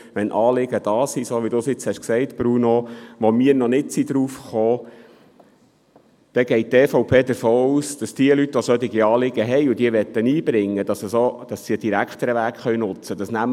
Wenn Anliegen vorhanden sind, die uns, wie Bruno Vanoni gesagt hat, noch nicht in den Sinn gekommen sind, dann geht die EVP davon aus, dass diese Leute, die ein solches Anliegen einbringen möchten, einen direkteren Weg nutzen können.